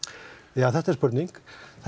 já þetta er spurning